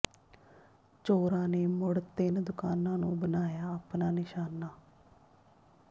ਚੋਰਾਂ ਨੇ ਮੁੜ ਤਿੰਨ ਦੁਕਾਨਾਂ ਨੂੰ ਬਣਾਇਆ ਆਪਣਾ ਨਿਸ਼ਾਨਾ